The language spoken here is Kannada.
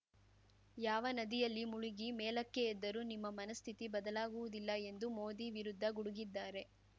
ಯಾವ ನದಿಯಲ್ಲಿ ಮುಳುಗಿ ಮೇಲಕ್ಕೆ ಎದ್ದರೂ ನಿಮ್ಮ ಮನಸ್ಥಿತಿ ಬದಲಾಗುವುದಿಲ್ಲ ಎಂದು ಮೋದಿ ವಿರುದ್ಧ ಗುಡುಗಿದ್ದಾರೆ